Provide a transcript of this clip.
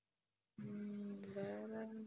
வேற ஹம்